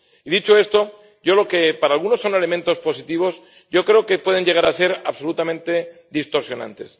Y dicho esto, lo que para algunos son elementos positivos, para mí creo que pueden llegar a ser absolutamente distorsionantes.